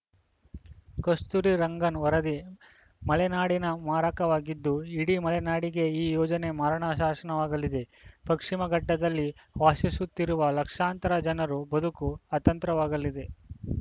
ಕಸ್ತೂರಿ ರಂಗನ್‌ ವರದಿ ಮಲೆನಾಡಿಗೆ ಮಾರಕವಾಗಿದ್ದು ಇಡೀ ಮಲೆನಾಡಿಗೆ ಈ ಯೋಜನೆ ಮರಣ ಶಾಸನವಾಗಲಿದೆ ಪಶ್ಟಿಮಘಟ್ಟದಲ್ಲಿ ವಾಸಿಸುತ್ತಿರುವ ಲಕ್ಷಾಂತರ ಜನರ ಬದುಕು ಆತಂತ್ರವಾಗಲಿದೆ